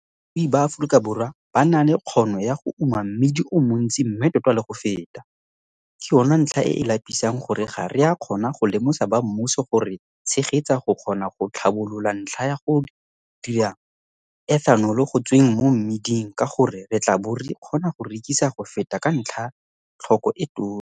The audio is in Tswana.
Balemirui ba Afrikaborwa ba na le kgono ya go uma mmidi o montsi mme tota le go feta, ke yona ntlha e e lapisang ya gore ga re a kgona go lemosa bammuso go re tshegetsa go kgona go tlhabolola ntlha ya go dira ethanolo go tsweng mo mmiding ka gore re tla bo re kgona go rekisa go feta ka ntlha tlhoko e tona.